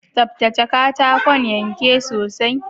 Tsaftace katakon yanke sosai